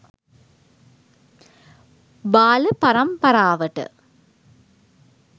බාල පරම්පරාවට